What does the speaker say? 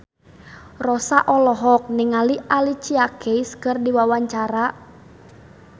Rossa olohok ningali Alicia Keys keur diwawancara